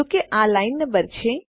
જો કે આ લાઈન નંબર છે